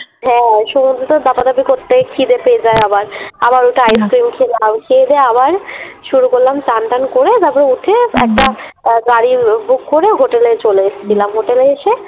হ্যাঁ সমুদ্রেতে দাপা দাপি করতে খিদে পেয়ে যায় আবার, আবার উঠে আইস ক্রীম খেলাম । খেয়ে দেয়ে আবার শুরু করলাম চান টান করে তারপরে উঠে একটা গাড়ি Book করে হোটেলে চলে এসছিলাম। হোটেলে এসে